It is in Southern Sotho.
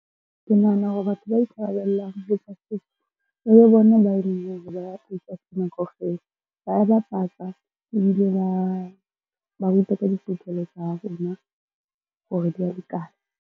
Ke nahana hore batho ba ikarabellang ho tsa tefo e be bona kaofela. Ba bapatsa, ebile ba ba rute ka tsa rona hore di a lekana.